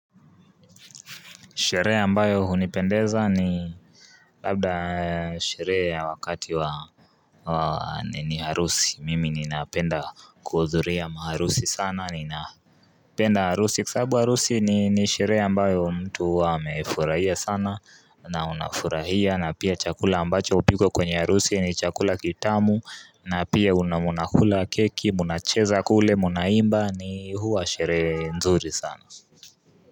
Sherehe ambayo hunipendeza ni Labda sherehe ya wakati wa wa nini harusi mimi ninapenda kuhudhuria maharusi sana ninapenda harusi kwa sabu harusi ni sheree ambayo mtu huwa amefurahia sana na unafurahia na pia chakula ambacho hupikwa kwenye harusi ni chakula kitamu na pia una munakula keki munacheza kule munaimba ni huwa sherehe nzuri sana.